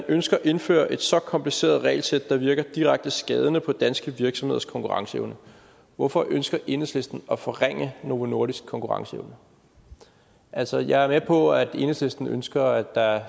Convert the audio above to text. ønsker at indføre et så kompliceret regelsæt der virker direkte skadende på danske virksomheders konkurrenceevne hvorfor ønsker enhedslisten at forringe novo nordisks konkurrenceevne altså jeg er med på at enhedslisten ønsker at der